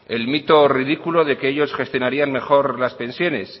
el mito ridículo de que ellos gestionarían mejor las pensiones